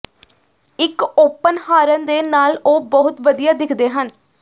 ਇੱਕ open horn ਦੇ ਨਾਲ ਉਹ ਬਹੁਤ ਵਧੀਆ ਦਿੱਖਦੇ ਹਨ